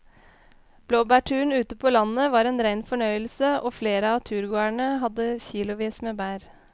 Blåbærturen ute på landet var en rein fornøyelse og flere av turgåerene hadde kilosvis med bær.